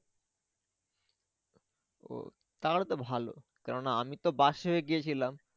ও তাহলে তো ভালো কেন না আমি তো বাসে গিয়েছিলাম।